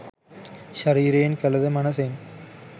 ශරීරයෙන් කළ ද මනසෙන්